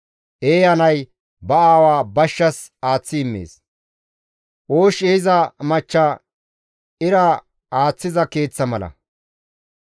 Eeya nay ba aawa bashshas aaththi immees; oosh ehiza machcha ira aaththiza keeththa mala.